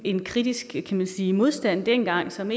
en kritisk kan man sige modstand dengang som